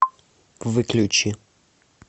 выключи